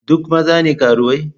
Duk maza ne karuwai?